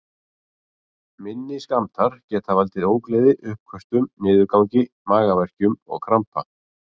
Minni skammtar geta valdið ógleði, uppköstum, niðurgangi, magaverkjum og krampa.